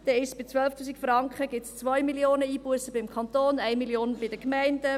Bei 12 000 Franken sind es 2 Mio. Franken Einbussen beim Kanton und 1 Mio. Franken bei den Gemeinden.